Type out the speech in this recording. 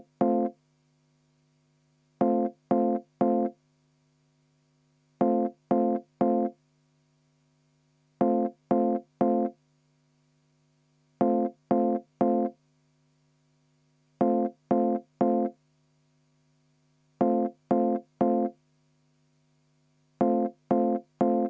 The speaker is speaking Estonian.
Vaheaeg 10 minutit.